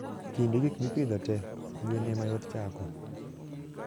kind gikmipidho tee, gwen emayot chako